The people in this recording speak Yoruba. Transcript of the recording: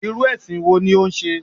Irú èsìn wo ni o n se?